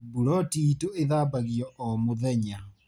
Buloti itũ ĩthambagio o mũthenya.